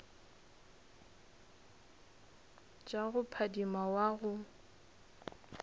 tša go phadima wa go